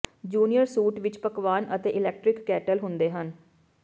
junior suite ਵਿੱਚ ਪਕਵਾਨ ਅਤੇ ਇਲੈਕਟ੍ਰਿਕ ਕੇਟਲ ਹੁੰਦੇ ਹਨ